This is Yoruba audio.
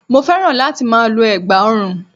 Mo féràn láti ma lo ẹ̀gbà orun